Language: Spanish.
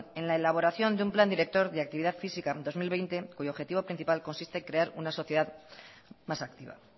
en la elaboración de un plan director de actividad física dos mil veinte cuyo objetivo principal consiste en crear una sociedad más activa